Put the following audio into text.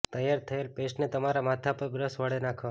તૈયાર થયેલ પેસ્ટને તમારા માથા પર બ્રશ વળે નાખો